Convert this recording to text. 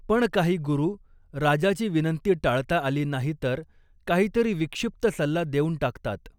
पण काही गुरु, राजाची विनंती टाळता आली नाही तर काहीतरी विक्षिप्त सल्ला देऊन टाकतात.